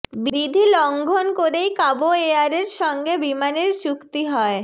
বিধি লঙ্ঘন করেই কাবো এয়ারের সঙ্গে বিমানের চুক্তি হয়